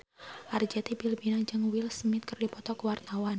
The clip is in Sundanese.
Arzetti Bilbina jeung Will Smith keur dipoto ku wartawan